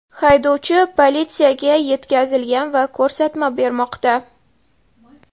Haydovchi politsiyaga yetkazilgan va ko‘rsatma bermoqda.